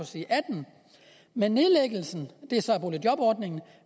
side 18 med nedlæggelsen af boligjobordningen